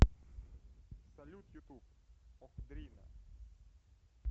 салют ютуб охдрина